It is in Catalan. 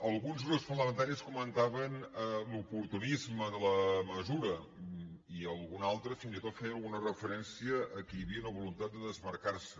alguns grups parlamentaris comentaven l’oportunisme de la mesura i algun altre fins i tot feia alguna referència que hi havia una voluntat de desmarcar se